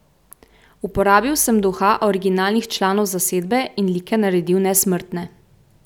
Uporabil sem duha originalnih članov zasedbe in like naredil nesmrtne.